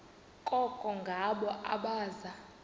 koko ngabo abaza